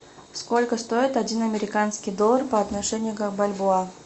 сколько стоит один американский доллар по отношению к бальбоа